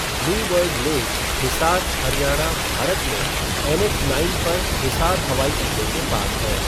Blue bird lake Hisar, Haryana, Bharat में NH nine पर हिसार हवाई अड्डे के पास है।